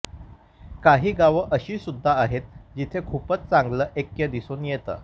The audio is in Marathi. काही गावं अशी सुद्धा आहेत जिथे खूपच चांगलं ऐक्य दिसून येतं